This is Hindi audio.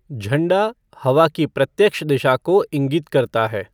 झंडा हवा की प्रत्यक्ष दिशा को इंगित करता है।